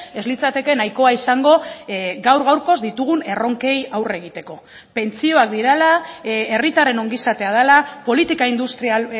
ez litzateke nahikoa izango gaur gaurkoz ditugun erronkei aurre egiteko pentsioak direla herritarren ongizatea dela politika industrial